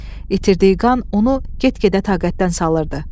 İtirdiyi qan onu get-gedə taqətdən salırdı.